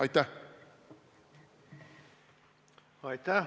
Aitäh!